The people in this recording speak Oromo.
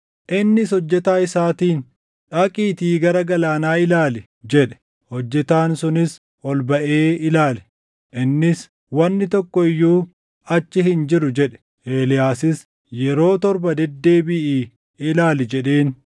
Innis hojjetaa isaatiin, “Dhaqiitii gara galaanaa ilaali” jedhe. Hojjetaan sunis ol baʼee ilaale. Innis, “Wanni tokko iyyuu achi hin jiru” jedhe. Eeliyaasis, “Yeroo torba, deddeebiʼii ilaali” jedheen.